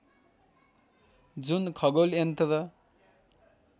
जुन खगोल यन्त्र